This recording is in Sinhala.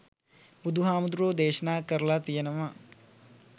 බුදුහාමුදුරුවෝ දේශනා කරළා තියෙනවා